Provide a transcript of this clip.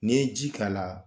Ni ye ji k'a la